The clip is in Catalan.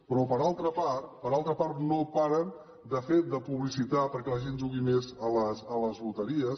però per altra part per altra part no paren de publicitar perquè la gent jugui més a les loteries